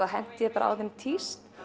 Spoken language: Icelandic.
henti ég bara á þau tísti